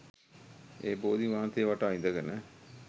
ඒ බෝධීන් වහන්සේ වටා ඉඳගෙන